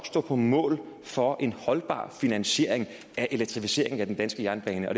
stå på mål for en holdbar finansiering af elektrificeringen af den danske jernbane og